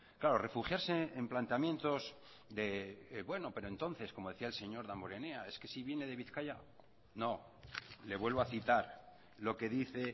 claro refugiarse en planteamientos de bueno pero entonces como decía el señor damborenea es que si viene de bizkaia no le vuelvo a citar lo que dice